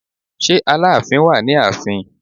Ṣé Aláàfin wà ní ààfin?